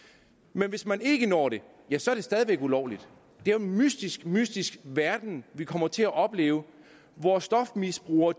men hvis man ikke når det ja så er det stadig væk ulovligt det er jo en mystisk mystisk verden vi kommer til at opleve hvor stofmisbrugere